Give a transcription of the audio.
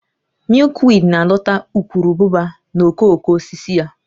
Milkweed na-adọta ukuruabụba na okooko osisi ya